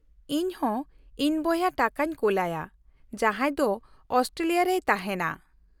-ᱤᱧ ᱦᱚᱸ ᱤᱧ ᱵᱚᱭᱦᱟ ᱴᱟᱠᱟᱧ ᱠᱳᱞᱟᱭᱟ, ᱡᱟᱦᱟᱸᱭ ᱫᱚ ᱚᱥᱴᱨᱮᱞᱤᱭᱟ ᱨᱮᱭ ᱛᱟᱦᱮᱸᱱᱟ ᱾